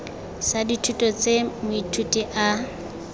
sa dithuto tse moithuti a